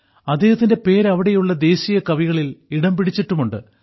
അദ്ദേഹത്തിന്റെ പേര് അവിടെയുള്ള ദേശീയ കവികളിൽ ഇടംപിടിച്ചിട്ടുമുണ്ട്